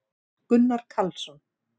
gunnar karlsson